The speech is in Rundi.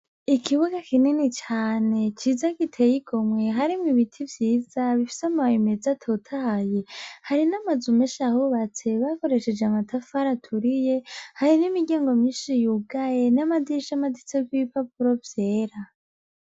Ikibuga kinini cane ciza giteye ingomwe, ahrimwo ibiti vyiza bifise amababi meza atotahaye, hari n'amazu menshi ahubatse, bakoresheje amatafari aturiye, hari n'imiryango nyinshi yugaye n'amadirisha amaniditseko ibipapuro vyera